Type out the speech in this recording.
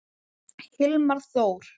Hilmar Þór.